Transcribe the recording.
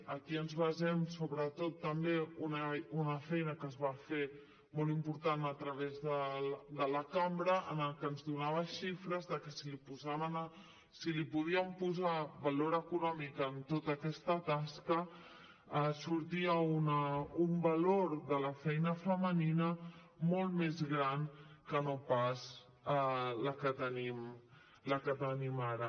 aquí ens basem sobretot també en una feina que es va fer molt important a través de la cambra que ens donava xifres de que si li podien posar valor econòmic a tota aquesta tasca sortia un valor de la feina femenina molt més gran que no pas el que tenim ara